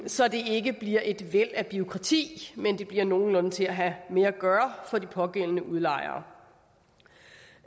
så det ikke bliver et væld af bureaukrati men det bliver nogenlunde til at have med at gøre for de pågældende udlejere